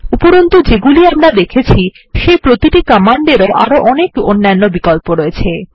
উপরন্তু যেগুলি আমরা দেখেছি সেই প্রতিটি কমান্ডেরও আরো অনেক অন্যান্য বিকল্প আছে